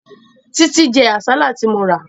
Títí jẹ àsálà tí mo rà